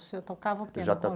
O senhor tocava o quê no